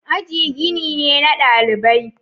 Aji gini ne na dalibai.